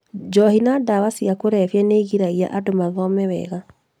Njohi na ndawa cia kũrebia nĩigiragia andu mathome wega